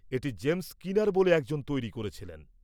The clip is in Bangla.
এটি জেমস স্কিনার বলে একজন তৈরি করেছিলেন।